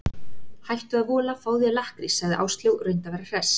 Hættu að vola, fáðu þér lakkrís sagði Áslaug og reyndi að vera hress.